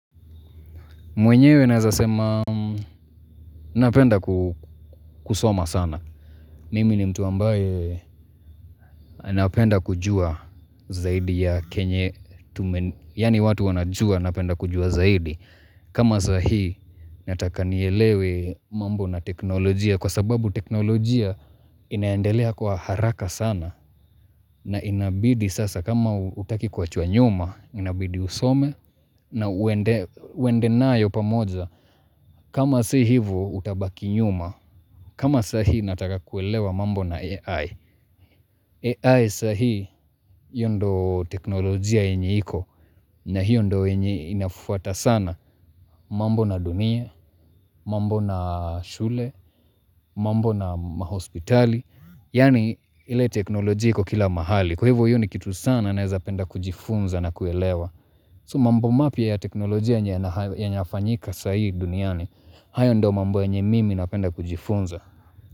Mwenyewe naeza sema napenda kusoma sana. Mimi ni mtu ambaye napenda kujua zaidi ya kenye tume yaani watu wanajua napenda kujua zaidi. Kama sahi nataka nielewe mambo na teknolojia kwa sababu teknolojia inaendelea kwa haraka sana. Na inabidi sasa kama hutaki kuachwa nyuma inabidi usome na uende nayo pamoja. Kama si hivo utabaki nyuma, kama sahi nataka kuelewa mambo na AI. AI sahi hio ndio teknolojia yenye iko na hiyo ndio yenye inafuata sana. Mambo na dunia, mambo na shule, mambo na mahospitali. Yani ile teknolojia iko kila mahali. Kwa hivo hiyo ni kitu sana naeza penda kujifunza na kuelewa. So mambo mapya ya teknolojia yenye yanafanyika sai duniani hayo ndio mambo yenye mimi napenda kujifunza.